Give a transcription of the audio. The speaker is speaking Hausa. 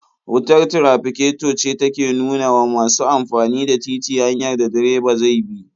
Wutar tirafiketo ce take nuna wa masu amfani da titi hanyar da direba zai bi.